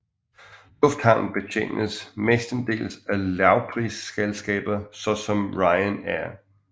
Lufthavnen betjenes mestendels af lavprisselskaber såsom Ryan Air